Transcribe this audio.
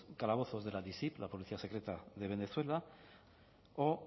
calabozos de la policía secreta de venezuela o